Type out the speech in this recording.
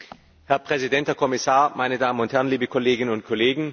Herr Präsident, Herr Kommissar, meine Damen und Herren, liebe Kolleginnen und Kollegen!